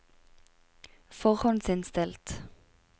forhåndsinnstilt